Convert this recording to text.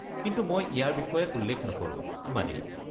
কিন্তু মই ইয়াৰ বিষয়ে উল্লেখ নকৰোঁ, ইমানেই।